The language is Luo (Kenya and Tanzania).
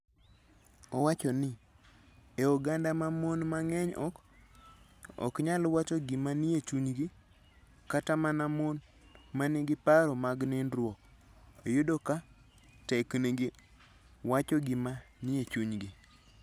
Owacho ni, e oganda ma mon mang'eny ok nyal wacho gima nie chunygi, kata mana mon ma nigi paro mag nindruok, yudo ka teknegi wacho gima nie chunygi.